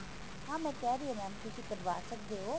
ਹਾਂ ਮੈਂ ਕਹਿ ਰਹੀ ਹਾ mam ਤੁਸੀਂ ਕਢਵਾ ਸੱਕਦੇ ਹੋ